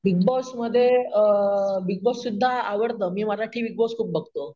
big Boss मध्ये अं, Bigg Boss सुद्धा आवडतं, मी मराठी बिग बॉस खूप बघतो